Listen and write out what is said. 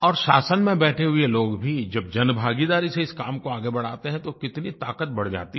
और शासन में बैठे हुए लोग भी जब जनभागीदारी से इस काम को आगे बढाते हैं तो कितनी ताक़त बढ़ जाती है